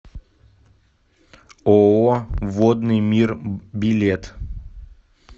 ооо водный мир билет